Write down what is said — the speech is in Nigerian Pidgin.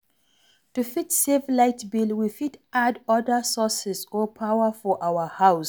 To fit save light bill, we fit add oda sources or power for our house